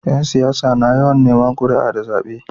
Yan siyasa na yawan Neman kuria da zabe